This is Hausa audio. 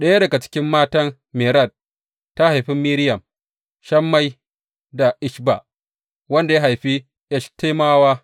Ɗaya daga cikin matan Mered ta haifi Miriyam, Shammai da Ishba wanda ya haifi Eshtemowa.